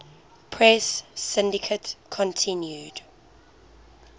press syndicate continued